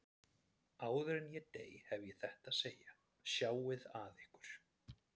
En áður en ég dey hef ég þetta að segja: Sjáið að ykkur.